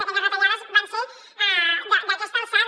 aquelles retallades van ser d’aquesta alçada